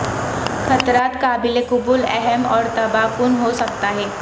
خطرات قابل قبول اہم اور تباہ کن ہو سکتا ہے